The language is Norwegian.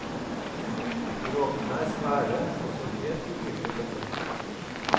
Dråpene er svære og så helt urimelig tette.